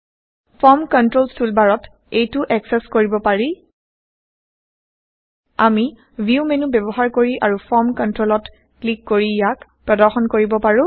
form controls টুলবাৰত এইটো access কৰিব পাৰি আমি ভিউ মেন্যু বয়ৱহাৰ কৰি আৰু ফৰ্ম কন্ট্ৰলচত ক্লিক কৰি ইয়াক প্ৰদৰ্শন কৰিব পাৰো